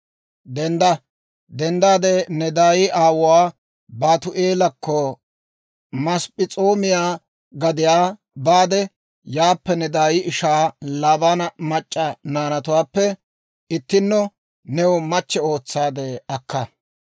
Dendda! Ne daay aawuwaa Baatu'eelakko, Masp'p'es'oomiyaa gadiyaa baade yaappe ne daay ishaa Laabaana mac'c'a naanatuwaappe ittinno new machchatto ootsaade akka.